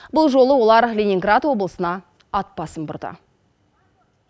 бұл жолы олар ленинград облысына ат басын бұрды